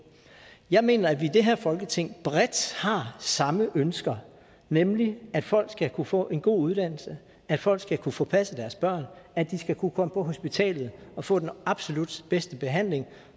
jeg mener at vi i det her folketing bredt har samme ønsker nemlig at folk skal kunne få en god uddannelse at folk skal kunne få passet deres børn at de skal kunne komme på hospitalet og få den absolut bedste behandling